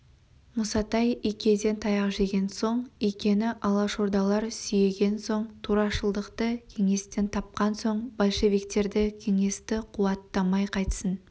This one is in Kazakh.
мұсатай икеден таяқ жеген соң икені алашордалар сүйеген соң турашылықты кеңестен тапқан соң большевиктерді кеңесті қуаттамай қайтсін